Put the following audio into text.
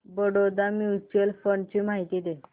Baroda mutual fund ची माहिती दे